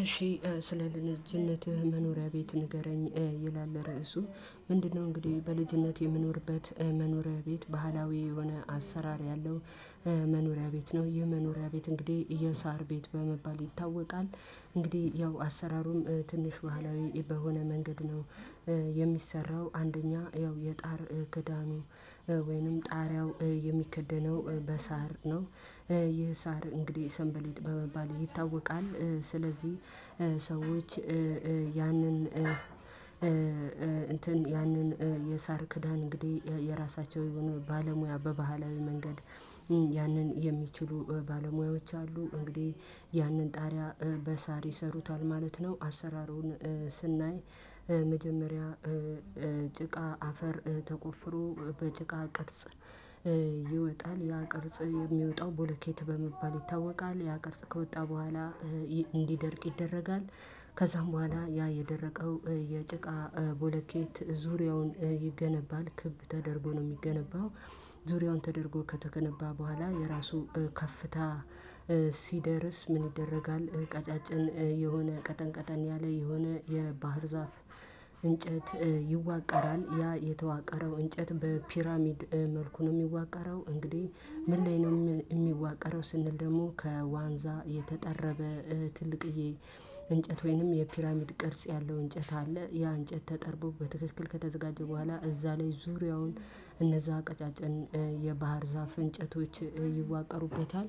እሺ ስለ ልጅነትህ መኖሪያ ቤት ንገረኝ ይላል ራዕሱ ምንድነው እንግዲህ በልጅነት የምኖርበት መኖሪያ ቤት ባህላዊ የሆነ አሰራር ያለው መኖሪያ ቤት ነው የመኖሪያ ቤት እንግዲህ ይሄ የሳር ቤት በመባል ይታወቃል እንግዲህ ያው አሰራሩም ትንሽ ባህላዊ በሆነ መንገድ ነው የሚሰራው አንደኛ ያው የጣር ክዳኑ ወይንም ጣሪያው የሚከደነው በሳር ነው ይህ ሳር እንግዲህ ሰንበሌጥ በመባል ይታወቃል። ስለዚህ ሰዎች ያንን እንትን ያንን የሳር ክዳን እንግዲህ የራሳቸው የሆኑ ባለሙያ በባህላዊ መንገድ ያንን የሚችሉ ባለሙያዎች አሉ እንግዲህ ያንን ጣሪያ በሳር ይሰሩታል ማለት ነው አሰራሩን ስናይ""" መጀመሪያ ጭቃ አፈር ተቆፍሮ በጭቃ ቅርጽ ይወጣል ያ ቅርጽ የሚወጣው ቦሌኬት በመባል ይታወቃል ያ ቅርጽ ከወጣ በኋላ እንድደርቅ ይደረጋል ከዛም በኋላ ያ የደረቀው የጭቃ ቦለኬት ዙሪያውን ይገነባል ክብ ተደርጎ ነው። የሚገነባው ዙሪያውን ተደርጎ ከተገነባ በኋላ የራሱ ከፍታ ሲደርስ ምን ይደረጋል ቀጫጭን የሆነ ቀጠን ቀጠን ያለ የሆነ የባህር ዛፍ እንጨት ይዋቀራል ያ የተዋቀረው እንጨት በፒራሚድ መልኩ ነው የሚዋቀረው እንግዲህ ምን ላይ ነው የሚዋቀረው ስንል ደግሞ ከዋንዛ የተጠረበ ትልቅ እንጨት ወይንም የፒራሚድ ቅርጽ ያለው እንጨት አለ ያ እንጨት ተጠርቦ በትክክል ከተዘጋጀ በኋላ እዛ ላይ ዙሪያውን እነዛ አቀጫጨን የባህር ዛፍ እንጨቶች ይዋቀሩበታል ዋቀሩበታል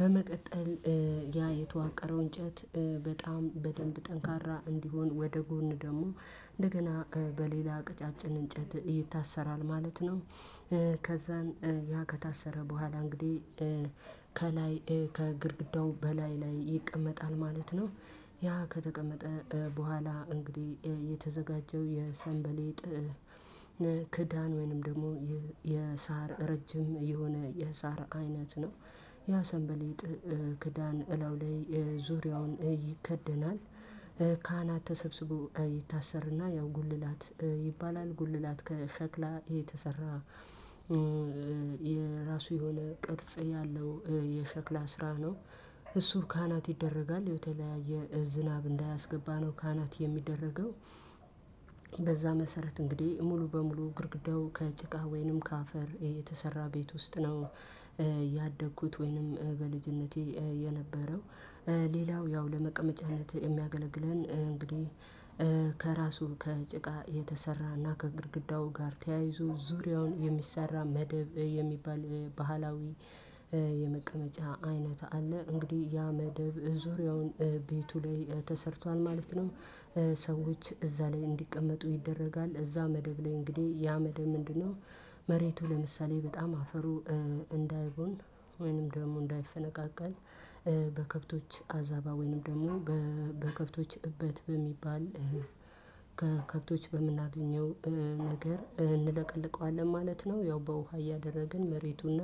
በመቀጠል ያ የተዋቀረው እንጨት በጣም በደንብ ጠንካራ እንዲሆን ወደ ጎን ደግሞ እንደገና በሌላ ቅጫጭን እንጨት ይታሰራል ማለት ነው። ከዛን ያ ከታሰረ በኋላ እንግዲህ"" ከላይ ከግርግዳው በላይ ላይ ይቀመጣል ማለት ነው ያ ከተቀመጠ በኋላ እንግዲህ የተዘጋጀው የሰንበሌጥ ክዳን ወይንም ደግሞ የሣር ረጅም የሆነ የሣር አይነት ነው ያ ሰንበሌጥ ክዳን እለው ላይ ዙሪያውን ይከደናል ካህናት ተሰብስቦ ይታሰርና ያው ጉልላት ይባላል። ጉልላት ከሸክላ የተሰራ የራሱ የሆነ ቅርጽ ያለው የሸክላ ስራ ነው እሱ ካህናት ይደረጋል የተለያየ ዝናብ እንዳያስገባ ነው ካህናት የሚደረገው በዛ መሰረት እንግዲህ ሙሉ በሙሉ ግርግርዳው ከጭቃ ወይንም ከአፈር የተሰራ ቤት ውስጥ ነው ያደግኩት ወይንም በልጅነቴ የነበረው ሌላው ያው ለመቀመጫነት የሚያገለግለን እንግዲህ ከራሱ ከጭቃ የተሰራና ከግርግዳው ጋር ተያይዞ ዙሪያውን የሚሰራ መደብ የሚባል ባህላዊ የመቀመጫ አይነት አለ እንግዲህ ያ መደብ ዙሪያውን ቤቱ ላይ ተሰርቷል ማለት ነው። ሰዎች እዛ ላይ እንዲቀመጡ ይደረጋል እዛ መደብ ላይ እንግዲህ ያ መደብ ምንድነው መሬቱ ለምሳሌ በጣም አፈሩ እንዳይቦን ወይንም ደግሞ እንዳይፈነቃቃል በከብቶች አዛባ ወይንም ደግሞ በከብቶች እበት በሚባል ከከብቶች በምናገኘው ነገር እንለቀልቀዋለን ማለት ነው። ያው በውሃ እያደረግን መሬቱንና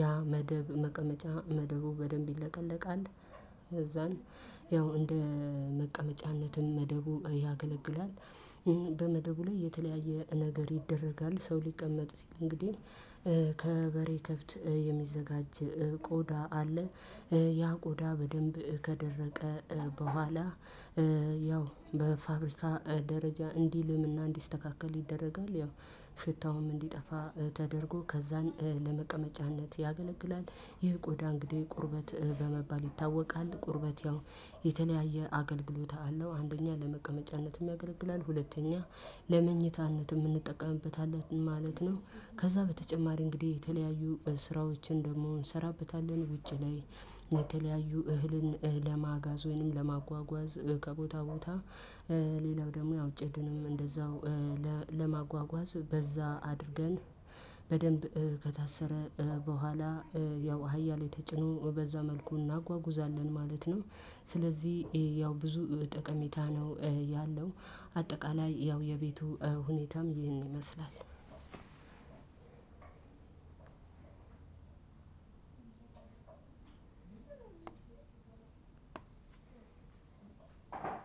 ያ መደብ መቀመጫ መደቡ በደንብ ይለቀለቃል እዛን ያው እንደ መቀመጫነትን መደቡ ያገለግላል። በመደቡ ላይ የተለያየ ነገር ይደረጋል ሰው ሊቀመጥ ሲል እንግዲህ ከበሬ ከብት የሚዘጋጅ ቆዳ አለ። ያ ቆዳ በደንብ ከደረቀ በኋላ ያው በፋብሪካ ደረጃ እንዲልም እና እንዲስተካከል ይደረጋል። ያው ሽታውም እንዲጠፋ ተደርጎ ከዛን ለመቀመጫነት ያገለግላል። ይህ ቆዳ እንግዲህ ቁርበት በመባል ይታወቃል። ቁርበት ያው የተለያየ አገልግሎት አለው አንደኛ ለመቀመጫነትም ያገለግላል ሁለተኛ ለመኝታነትም የምንጠቀምበታለን ማለት ነው ከዛ በተጨማሪ እንግዲህ የተለያዩ ስራዎችን ደግሞ እንሰራበታለን ውጭ ላይ የተለያዩ እህልን፣ ለማጋዝ ወይንም ለማጓጓዝ ከቦታ ቦታ ሌላው ደግሞ ያው ጭድንም እንደዛው ለማጓጓዝ በዛ አድርገን በደንብ ከታሰረ በኋላ ያው አህያ ላይ የተጭኖ በዛ መልኩ እናጓጉዛለን ማለት ነው ስለዚህ ያው ብዙ ጠቀሜታ ነው ያለው አጠቃላይ ያው የቤቱ ሁኔታም ይህን ይመስላል ሁለት ሶስት አራት አምስት ስድስት ሰባት ስምንት ዘጠኝ አስር